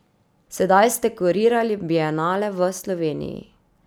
Sedaj ste kurirali bienale v Sloveniji.